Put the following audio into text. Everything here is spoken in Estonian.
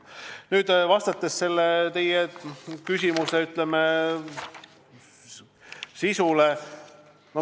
Nüüd vastan teie küsimuse, ütleme, sisule.